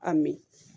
A mi